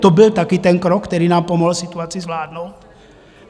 To byl také ten krok, který nám pomohl situaci zvládnout?